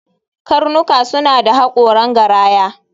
Karnuka suna da haƙoran garaya